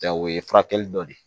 Ja o ye furakɛli dɔ ye